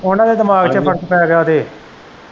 ਉਹਨਾਂ ਦੇ ਦਿਮਾਗ ਚ ਫਰਕ ਪੈ ਗਿਆ ਤੇ।